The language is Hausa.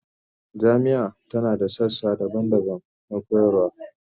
Jami'ar tana da sassa daban-daban da koyarwa